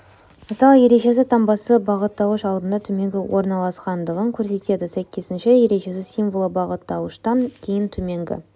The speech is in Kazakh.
мысалы ережесі таңбасы бағыттауыш алдында төменгі орналасқандығын көрсетеді сәйкесінше ережесі символы бағыттауыштан кейін төменгі